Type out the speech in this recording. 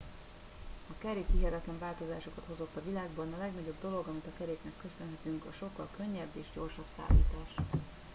a kerék hihetetlen változásokat hozott a világban a legnagyobb dolog amit a keréknek köszönhetünk a sokkal könnyebb és gyorsabb szállítás